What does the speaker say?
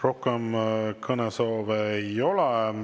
Rohkem kõnesoove ei ole.